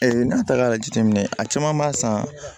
n'a ta ka jateminɛ a caman b'a san